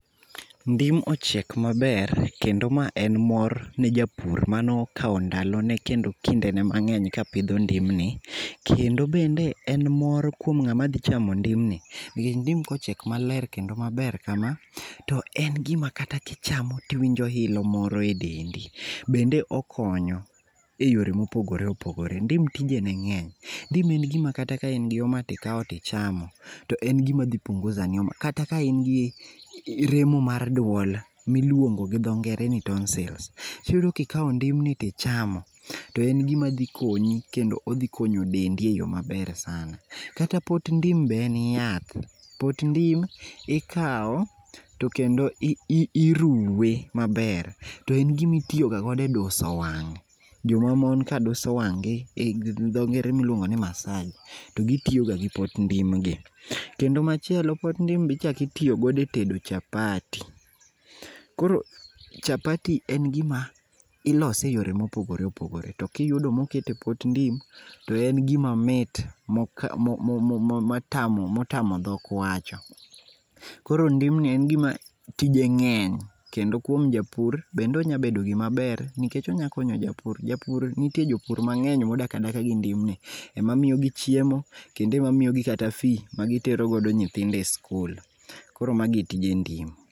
Ndim ochiek maber kendo ma en mor ne japur manokao ndalone kendo kindene mangeny kapidho ndim ni, kendo bende en mor kuom ng'ama dhi chamo ndim ni nikech ndim kochiek maler kendo maber kama toen gima kata kichamo tiwinjo ilo moro e dendi. Bende okonyo e yore mopogore opogore. Ndim tijene ng'eny, ndim en gima kata ka in gi homa tikao tichamo en gima dhi punguza ni homa, kata ka in gi remo mar duol miluongo gi dho ngere ni tonsils, iyudo kikaw ndim ni tichamo to en gima dhi konyi kendo odhi konyo dendi e yoo maber sana. Kata pot ndim be en yath, pot ndim ikao tokendo iruwe maber to en gim aitiyo ga go e duso wang',joma mon ka duso wang' gi gi dho ngere miluongo ni massage[sc] to gitiyo ga gi pot ndim ni. Kendo machielo pot ndim bichak itiyo go e tedo chapati, koro chapati[sc] en gima ilose eyore mopogore opogore to kiyudo moket epot ndim to en gima mit motamo dhok wacho. Koro ndim ni en gima tije ng'eny kendo kuom japur, bende onya bedo gima ber nikech onya. konyo japur, nitie jopur mang'eny modak adaka gi ndim ni mamiyo gi chiemo kendo mamiyo gi kata fee[sc] magitiere go nyithindo kata e skul, koro mano e tij ndim